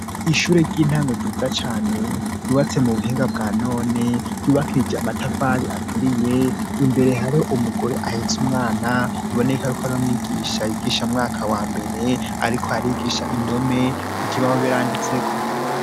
Ishure ry'intango ryiza cane ryubatse mu buhinga bwa none ryubakishije amatafari aturiye, imbere hari umugore ahetse umwana, biboneka yuko ari umwigisha yigisha mu mwaka wa mbere ariko arigisha indome, ku kibaho biranditseko.